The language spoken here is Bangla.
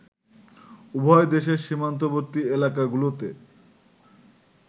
উভয় দেশের সীমান্তবর্তী এলাকাগুলোতে